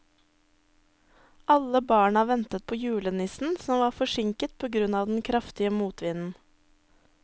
Alle barna ventet på julenissen, som var forsinket på grunn av den kraftige motvinden.